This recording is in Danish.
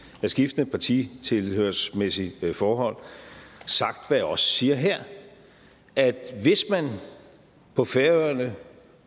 med skiftende partitilhørsmæssige forhold sagt hvad jeg også siger her at hvis man på færøerne